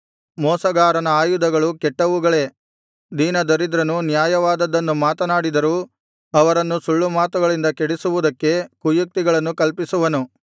ಮೋಸಗಾರನ ಆಯುಧಗಳು ಕೆಟ್ಟವುಗಳೇ ದೀನದರಿದ್ರನು ನ್ಯಾಯವಾದದ್ದನ್ನು ಮಾತನಾಡಿದರೂ ಅವರನ್ನು ಸುಳ್ಳುಮಾತುಗಳಿಂದ ಕೆಡಿಸುವುದಕ್ಕೆ ಕುಯುಕ್ತಿಗಳನ್ನು ಕಲ್ಪಿಸುವನು